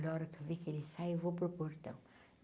A hora que eu vi que ele sai, eu vou para o portão.